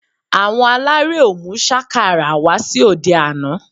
Àwọn aláré ò mú sákàrà wá sí òde àná